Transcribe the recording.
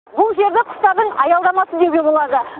бұл жерді құстардың аялдамасы деуге болады